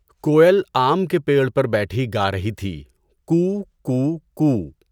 کوئل آم کے پیڑ پر بیٹھی گارہی تھی کوٗ، کوٗ، کوٗ۔